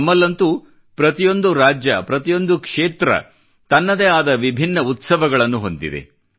ನಮ್ಮಲ್ಲಂತೂ ಪ್ರತಿಯೊಂದು ರಾಜ್ಯ ಪ್ರತಿಯೊಂದು ಕ್ಷೇತ್ರ ತನ್ನದೇ ಆದ ವಿಭಿನ್ನ ಉತ್ಸವಗಳನ್ನು ಹೊಂದಿವೆ